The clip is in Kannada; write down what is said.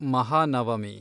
ಮಹಾನವಮಿ